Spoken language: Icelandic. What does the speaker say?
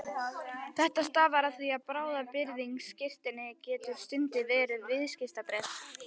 Þetta stafar af því að bráðabirgðaskírteini getur stundum verið viðskiptabréf.